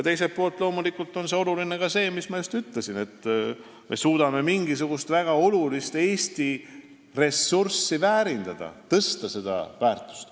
Teiselt poolt on loomulikult tähtis ka see, mis ma just ütlesin – kui me suudame mingisugust väga olulist Eesti ressurssi väärindada, tõsta selle väärtust.